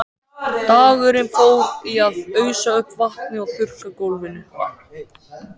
Dagurinn fór í að ausa upp vatni og þurrka gólfin.